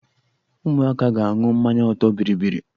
Ụmụaka ga-aṅụ mmanya ọtọ bịrịbịrị.